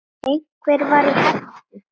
Einhver var í hættu.